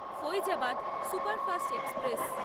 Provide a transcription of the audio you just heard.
Faizabad superfast express